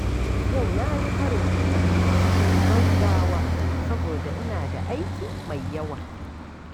Yau na yi karin kumallo cikin gaugawa saboda ina da aiki mai yawa.